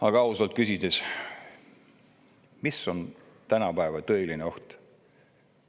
Aga küsime ausalt: mis on tänapäeval tõeline oht?